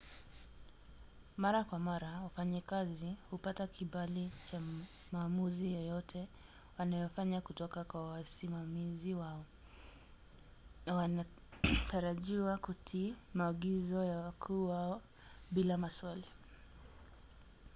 mara kwa mara wafanyakazi hupata kibali cha maamuzi yoyote wanayofanya kutoka kwa wasimamizi wao na wanatarajiwa kutii maagizo ya wakuu wao bila maswali